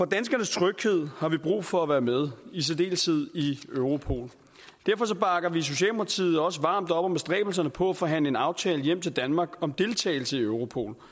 danskernes tryghed har vi brug for at være med i særdeleshed i europol og derfor bakker vi i socialdemokratiet også varmt op om bestræbelserne på at forhandle en aftale hjem til danmark om deltagelse i europol